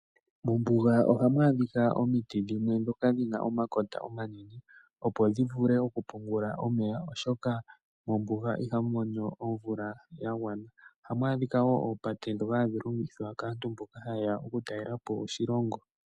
Mombuga ohamu adhika omiti dhimwe dhoka dhina omakota omanene opo dhi vule oku pungula omeya oshoka mombuga ohamu monika omvula yagwana , ohamu adhika wo opate dhoka hadhi longithwa kaantu mboka haye ya oku talelapo oshilongo